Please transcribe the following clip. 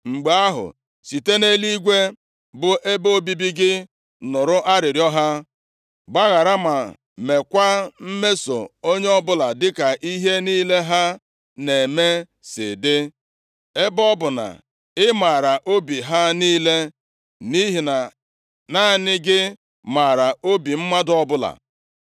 mgbe ahụ, site nʼeluigwe bụ ebe obibi gị nụrụ arịrịọ ha. Gbaghara ma meekwa; mesoo onye ọbụla dịka ihe niile ha na-eme si dị, ebe ọ bụ na ị maara obi ha niile, nʼihi na naanị gị maara obi mmadụ ọbụla,